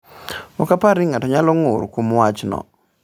“Ok aparo ni ng’ato nyalo ng’ur kuom wachno.”